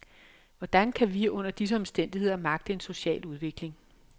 Hvordan kan vi under disse omstændigheder magte en social udvikling.